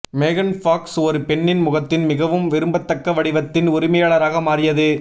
மேகன் ஃபாக்ஸ் ஒரு பெண்ணின் முகத்தின் மிகவும் விரும்பத்தக்க வடிவத்தின் உரிமையாளராக மாறியது